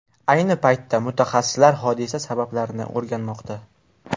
Ayni paytda mutaxassislar hodisa sabablarini o‘rganmoqda.